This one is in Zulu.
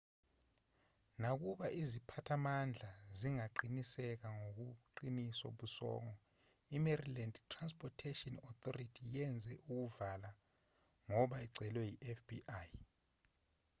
nakuba iziphathimandla zingaqiniseki ngobuqiniso bosongo imaryland transportation authority yenze ukuvala ngoba icelwe yifbi